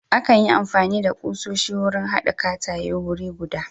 Akan yi amfani da ƙusoshi wurin hada katakaye wuri guda.